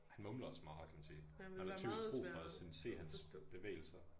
Han mumler også meget kan man sige. Man har typisk brug for sådan se hans bevægelser